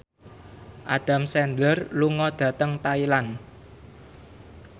Adam Sandler lunga dhateng Thailand